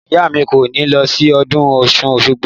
Ìyá mi kò ní lọ sí ọdún ọ̀ṣun òṣogbo